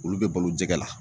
Olu bɛ balo jɛgɛ la.